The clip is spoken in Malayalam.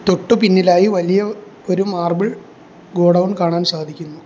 തൊട്ടു പിന്നിലായി വലിയ ഒരു മാർബിൾ ഗോഡൗൺ കാണാൻ സാധിക്കുന്നു.